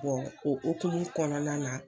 o hokumu kɔnɔna na.